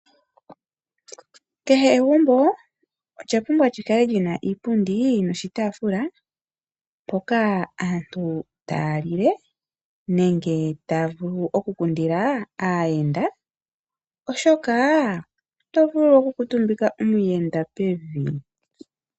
Kehe egumbo olya pumbwa lyikale lyina iipundi noshitafula mpoka aantu taya lile nenge taya vulu oku kundila aayenda oshoka ito vulu okukutumbika omuyenda pevi.